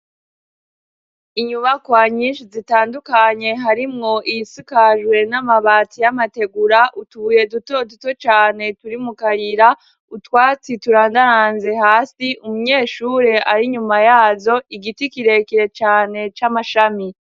Inyubakwa nyinshi zitandukanye harimwo iyisakajwe n'amabati y'amategura utubuye duto duto cane turi mu karira utwatsi turandaranze hasi umunyeshure ari nyuma yazo igiti kirekire cane c'amashami .